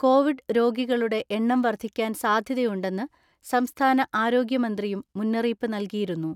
Covid രോഗികളുടെ എണ്ണം വർദ്ധിക്കാൻ സാധ്യതയുണ്ടെന്ന് സംസ്ഥാന ആരോഗ്യമന്ത്രിയും മുന്നറിയിപ്പ് നൽകിയിരുന്നു.